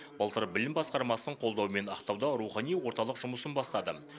былтыр білім басқармасының қолдауымен ақтауда рухани орталық жұмысын бастады